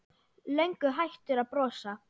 Löngu hættur að brosa.